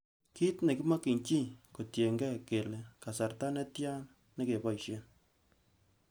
Kit nekimokyin chii kotienge kele kasarta netien nekeboishen.